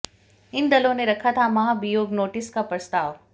इन दलों ने रखा था महाभियोग नोटिस का प्रस्ताव